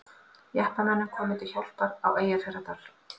Jeppamönnum komið til hjálpar á Eyjafjarðardal